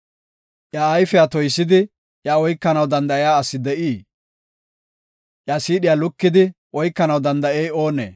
Iya ayfiya toysidi, iya oykanaw danda7iya asi de7ii? Iya siidhiya lukidi oykanaw danda7ey oonee?